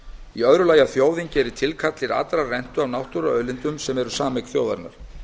í öðru lagi að þjóðin geri tilkall til allrar rentu af náttúruauðlindum sem eru sameign þjóðarinnar